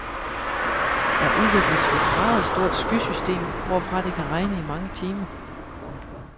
Der udvikles et meget stort skysystem, hvorfra det kan regne i mange timer.